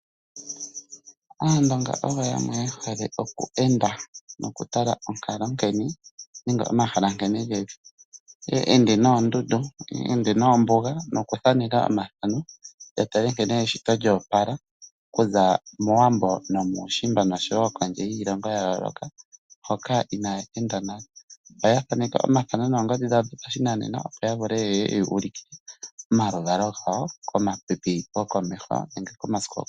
Aandonga oyo yamwe yehole oku enda nokutala onkalo nenge omahala nkene geli . Te ende noondundu nenge noombuga nokuthaneka omathano yatale nkene eshito lyo opala okuza mowambo nomuushimba oshowo kondje yiilongo ya yoolooloka hoka inaya enda nale. Ohaya thaneke omathano noongodhi dhawodho pa shinanena opo ya vule yu ulikile omaluvalo gawo komasiku gokomeho.